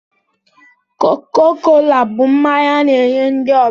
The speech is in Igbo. Koko kola bụ mmanya a na-enye ndị ọbịa